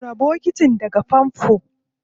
Cire bokitin daga famfo.